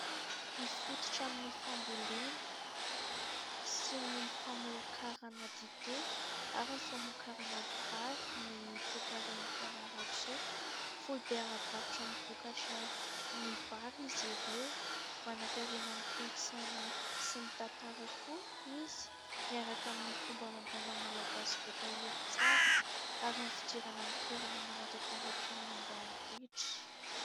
Mifototra amin'ny fambolena sy ny famokarana dite ary ny famokarana vary ny toe-karen'i Fianarantsoa, foibe ara-barotra amin'ny vokatra ny vary izy ireo. Manankarena amin'ny kolotsaina sy ny tantara koa izy miaraka amin'ny fomba amam-panao malagasy voatahiry tsara, ary ny fidirana amin'ny toerana mana-tantara toy ny ambanivohitra.